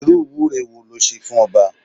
Irú ìwúre wo le ṣe fún ọba?